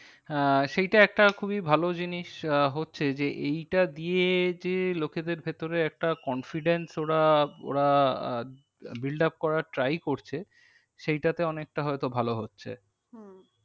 আহ সেইটা একটা খুবই ভালো জিনিস আহ হচ্ছে যে এইটা দিয়ে যে লোকেদের ভেতরে একটা confidence ওরা ওরা আহ build up করার try করছে। সেইটাতে অনেকটা হয় তো ভালো হচ্ছে। হম